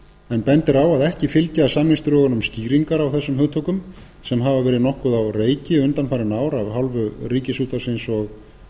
en bendir á að ekki fylgja samningsdrögunum skýringar á þessum hugtökum sem hafa verið nokkuð á reiki undanfarin ár af hálfu ríkisútvarpsins og